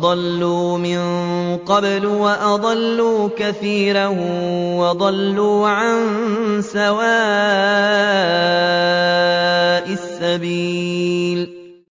ضَلُّوا مِن قَبْلُ وَأَضَلُّوا كَثِيرًا وَضَلُّوا عَن سَوَاءِ السَّبِيلِ